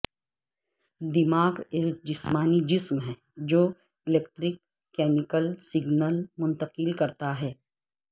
دماغ ایک جسمانی جسم ہے جو الیکٹرک کیمیکل سگنل منتقل کرتا ہے